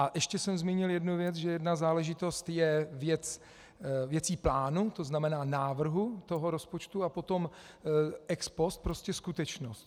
A ještě jsem zmínil jednu věc, že jedna záležitost je věcí plánu, to znamená návrhu toho rozpočtu, a potom ex post prostě skutečnost.